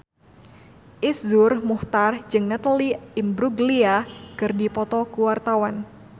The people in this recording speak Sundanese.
Iszur Muchtar jeung Natalie Imbruglia keur dipoto ku wartawan